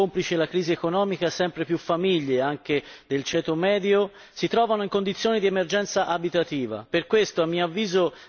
Purtroppo negli ultimi anni, complice la crisi economica, sempre più famiglie anche del ceto medio, si trovano in condizioni di emergenza abitativa.